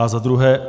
A za druhé.